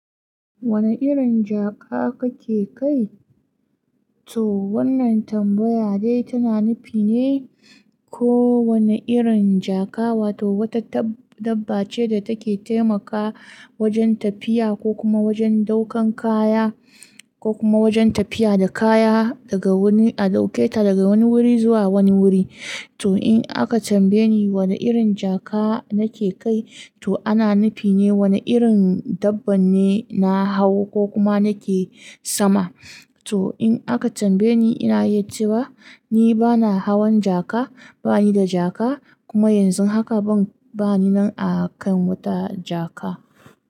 Wani irin jaka kake kai? To wannan tambaya dai tana nufine ko wani irin jaka, wato wata dabba ce da take taimakawa wajen tafiya ko kuma wajen ɗaukan kaya ko kuma wajen tafiya da kaya daga wani-- a ɗauke ta daga wani wuri zuwa wani wuri. To in aka tambaye ni wani irin jaka nake kai, to ana nufine wani irin dabba ne na hau ko kuma nake sama. To in aka tambaye ni, ina iya cewa ni bana hawan jaka, bani da jaka kuma yanzu haka ban, bani nan a kan wata jaka.